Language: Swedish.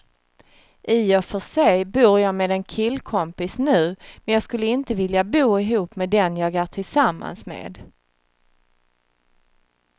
I och för sig bor jag med en killkompis nu, men jag skulle inte vilja bo ihop med den jag är tillsammans med.